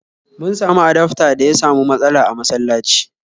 Mun samu adafta da ya samu matsala a masalaci